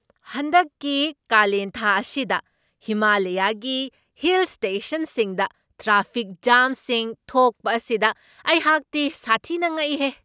ꯍꯟꯗꯛꯀꯤ ꯀꯥꯂꯦꯟꯊꯥ ꯑꯁꯤꯗ ꯍꯤꯃꯥꯂꯌꯥꯒꯤ ꯍꯤꯜ ꯁ꯭ꯇꯦꯁꯟꯁꯤꯡꯗ ꯇ꯭ꯔꯥꯐꯤꯛ ꯖꯥꯝꯁꯤꯡ ꯊꯣꯛꯄ ꯑꯁꯤꯗ ꯑꯩꯍꯥꯛꯇꯤ ꯁꯥꯊꯤꯅ ꯉꯛꯏꯍꯦ !